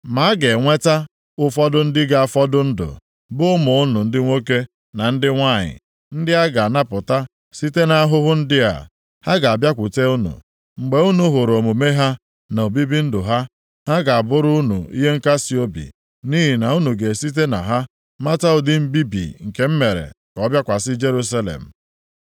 Ma a ga-enweta ụfọdụ ndị ga-afọdụ ndụ, bụ ụmụ unu ndị nwoke na ndị nwanyị, ndị a ga-anapụta site nʼahụhụ ndị a. Ha ga-abịakwute unu. Mgbe unu hụrụ omume ha, na obibi ndụ ha, ha ga-abụrụ unu ihe nkasiobi nʼihi na unu ga-esite na ha mata ụdị mbibi nke m mere ka ọ bịakwasị Jerusalem.